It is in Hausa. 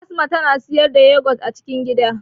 Fasma tana siyar da yogurt a cikin gida